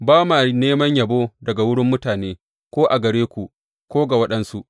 Ba ma neman yabo daga wurin mutane, ko a gare ku, ko ga waɗansu.